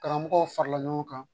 Karamɔgɔw farala ɲɔgɔn kan